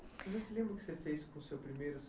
Você se lembra o que você fez com o seu primeiro